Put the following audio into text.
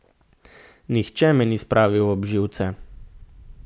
Nihče me ni spravil ob živce.